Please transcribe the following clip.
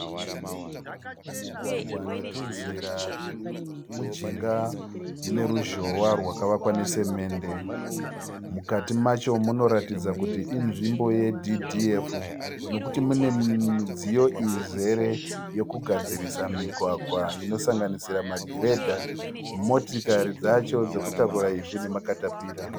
Mugwagwa netunzira turi mujinga meruzhowa rwakavakwa ne cement. Mukati macho munoratidza kuti inzvimbo ye DDF nokuti mune midziyo izere yokugadzirisa migwagwa inosanganisira magiredha, motikari dzacho dzekutakura ivhu nema " caterpillar".